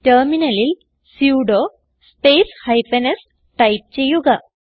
ടെർമിനലിൽ sudo space hyphen s type ചെയ്യുക